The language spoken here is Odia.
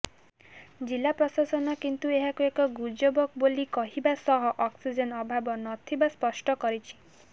ଜିଲ୍ଲା ପ୍ରଶାସନ କିନ୍ତୁ ଏହାକୁ ଏକ ଗୁଜବ ବୋଲି କହିବା ସହ ଅକ୍ସିଜେନ ଅଭାବ ନଥିବା ସ୍ପଷ୍ଟ କରିଛି